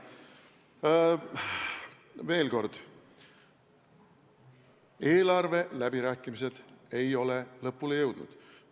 Veel kord: eelarveläbirääkimised ei ole lõpule jõudnud.